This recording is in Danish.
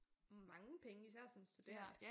Mange penge især som studerende